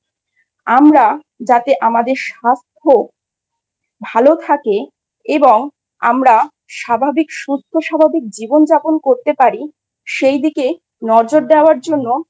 আমরা যাতে আমাদের স্বাস্থ্য ভাল থাকে এবং আমরা স্বাভাবিক সুস্থ স্বাভাবিক জীবন যাপন করতে পারি সেদিকে নজর দেওয়ার জন্য